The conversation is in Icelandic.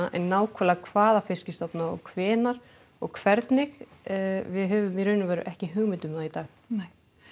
en nákvæmlega hvaða stofna og hvenær og hvernig við höfum í raun og veru ekki hugmynd um það í dag nei